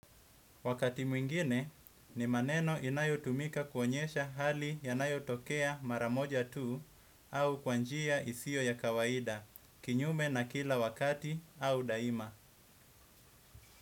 Wakati mwingine ni maneno inayo tumika kuonyesha hali yanayo tokea maramoja tuu au kwa njia isiyo ya kawaida, kinyume na kila wakati au daima.